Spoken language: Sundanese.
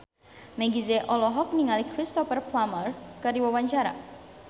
Meggie Z olohok ningali Cristhoper Plumer keur diwawancara